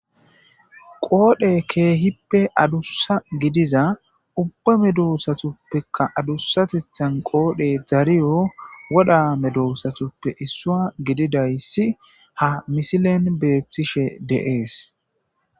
Qoodhe keehippe addusa gidiza ubba medosatupekka addusatethan qoodhey dariyo wodha medosatuppe issuwa gididaysi ha misilen beetishe de'es.